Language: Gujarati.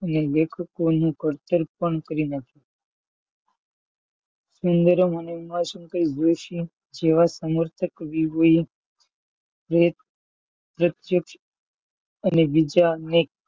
અને લેખકો નું ઘડતર પણ કરી નાખ્યું સુંદરમ અને ઉમાશંકર જોષી જેવા સમર્થક વિવો એ પ્રત્યક્ષ અને બીજા અનેક,